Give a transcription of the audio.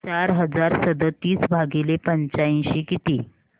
चार हजार सदतीस भागिले पंच्याऐंशी किती